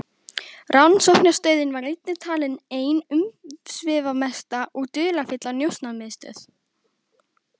Rannsóknarstöðin var einnig talin ein umsvifamesta og dularfyllsta njósnamiðstöð